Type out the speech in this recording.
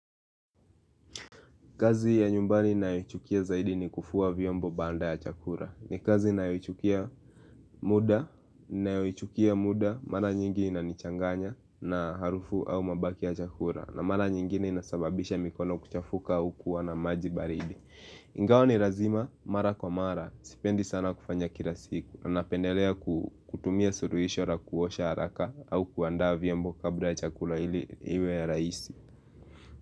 Kazi ya nyumbani ninayoichukia zaidi ni kufua vyombo baada ya chakula. Ni kazi ninayoichukia muda, ninayoichukia muda, mara nyingi inanichanganya na harufu au mabaki ya chakula. Na mara nyingine inasababisha mikono kuchafuka au kuwa na maji baridi. Ingawa ni lazima, mara kwa mara, sipendi sana kufanya kila siku. Na napendelea kutumia suluhisho la kuosha haraka au kuandaa vyombo kabla ya chakula ili iwe ya rahisi.